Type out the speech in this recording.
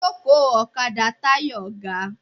Ìjókòó ọ̀kadà Táyọ̀ ga.